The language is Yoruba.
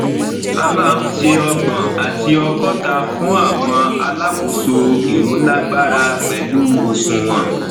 a máa ń ṣe ọgbọn àti ọgọta fún àwọn alákòóso ìrólágbára pẹlu òṣùnwọn